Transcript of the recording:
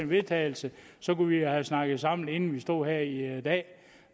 vedtagelse så kunne vi have snakket sammen inden vi stod her i dag